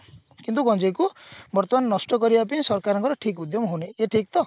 କିନ୍ତୁ ଗଞ୍ଜେଇ କୁ ବର୍ତମାନ ନଷ୍ଟ କରିବା ପେଇଁ ସରକାରଙ୍କର ଠିକ ଉଦ୍ୟମ ହଉନି ଇଏ ଠିକ ତ